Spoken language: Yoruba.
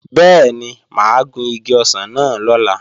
Bẹ́ẹ̀ni, mà á gun igi ọsàn náà lọ́la